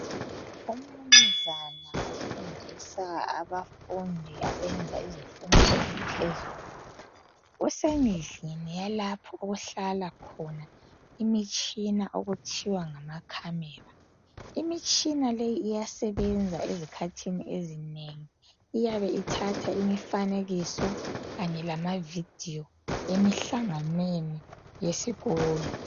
UMnunzana ofundisa abafundi abenza izifundo eziphezulu kusendlini yalapho okuhlala khona imtshina okuthiwa ngamakhamera imitshina leyi iyasebenza ezikhathini ezinengi iyabe ithatha imifanekiso kanye lamavideo lemihlanganweni yesikolo